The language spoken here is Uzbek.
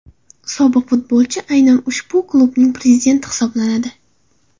Sobiq futbolchi aynan ushbu klubning prezidenti hisoblanadi.